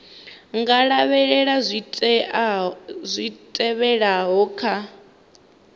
nga lavhelela zwi tevhelaho kha